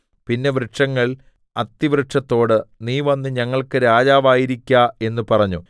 പിന്നെ വൃക്ഷങ്ങൾ അത്തിവൃക്ഷത്തോട് നീ വന്ന് ഞങ്ങൾക്ക് രാജാവായിരിക്ക എന്ന് പറഞ്ഞു